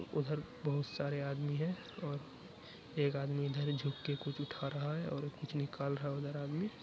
उधर बहोत सारे आदमी हैं और एक आदमी इधर झुक के कुछ उठा रहा है और कुछ निकाल रहा है उधर आदमी--